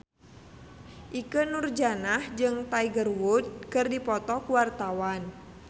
Ikke Nurjanah jeung Tiger Wood keur dipoto ku wartawan